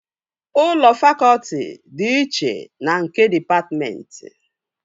Ụlọ fakọtị dị iche na nke dịpatmentị